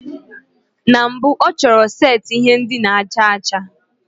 Na mbụ ọ chọrọ setịpụ ihe ndina aja aja.